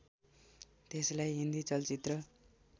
त्यसलाई हिन्दी चलचित्र